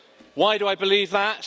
Why do I believe that?